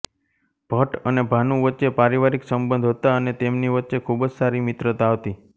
ભટ અને ભાનુ વચ્ચે પારિવારિક સંબંધ હતા અને તેમની વચ્ચે ખૂબ જ સારી મિત્રતા હતી